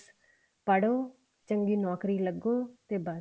ਪੜੋ ਤੇ ਚੰਗੀ ਨੋਕਰੀ ਲੱਗੋ ਤੇ ਬੱਸ